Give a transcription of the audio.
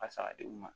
A sara di u ma